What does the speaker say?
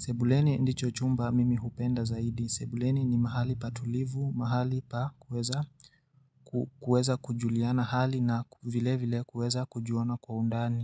Sebuleni ndicho chumba mimi hupenda zaidi. Sebuleni ni mahali patulivu, mahali pa kuweza kujuliana hali na vile vile kuweza kujuana kwa undani.